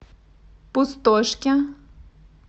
пустошке